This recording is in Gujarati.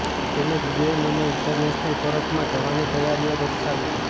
તેમજ યુએન અને ઈન્ટરનેશનલ કોર્ટમાં જવાની તૈયારીઓ દર્શાવી છે